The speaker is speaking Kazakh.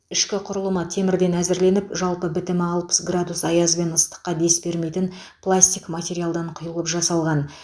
ішкі құрылымы темірден әзірленіп жалпы бітімі алпыс градус аяз бен ыстыққа дес бермейтін пластик материалдан құйылып жасалған